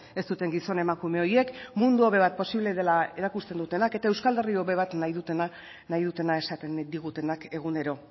ez duten gizon emakume horiek mundu hobe bat posible dela erakusten dutenak eta euskal herri hobe bat nahi dutena esaten digutenak egunero